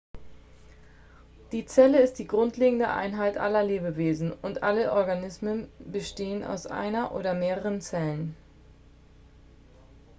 die zelle ist die grundlegende einheit aller lebewesen und alle organismen bestehen aus einer oder mehreren zellen